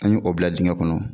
An ye o bila dingɛ kɔnɔ.